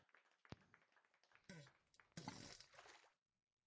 Hvert var besta augnablikið á tíma hans hjá liðinu?